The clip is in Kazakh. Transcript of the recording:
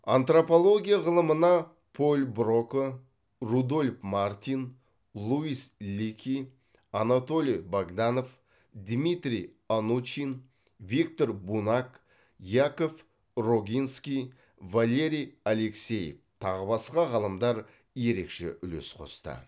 антропология ғылымына поль брока рудольф мартин луис лики анатолий богданов дмитрий анучин виктор бунак яков рогинский валерий алексеев тағы басқа ғалымдар ерекше үлес қосты